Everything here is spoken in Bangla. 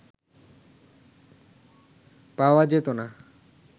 পাওয়া যেত না